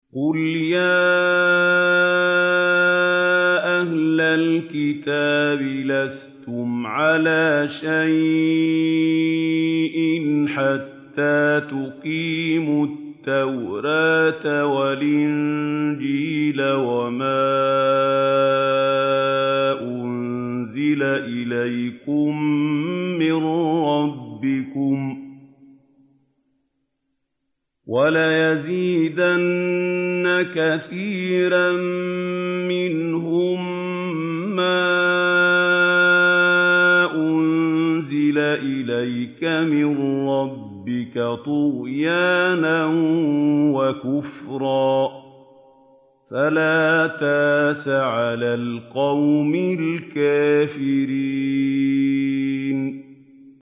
قُلْ يَا أَهْلَ الْكِتَابِ لَسْتُمْ عَلَىٰ شَيْءٍ حَتَّىٰ تُقِيمُوا التَّوْرَاةَ وَالْإِنجِيلَ وَمَا أُنزِلَ إِلَيْكُم مِّن رَّبِّكُمْ ۗ وَلَيَزِيدَنَّ كَثِيرًا مِّنْهُم مَّا أُنزِلَ إِلَيْكَ مِن رَّبِّكَ طُغْيَانًا وَكُفْرًا ۖ فَلَا تَأْسَ عَلَى الْقَوْمِ الْكَافِرِينَ